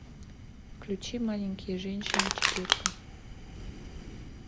включи маленькие женщины четырка